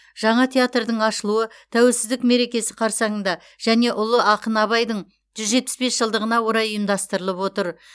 жаңа театрдың ашылуы тәуелсіздік мерекесі қарсаңында және ұлы ақын абайдың жүз жетпіс бес жылдығына орай ұйымдастырылып отыр